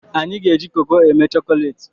Anyị ga-eji koko eme chokolati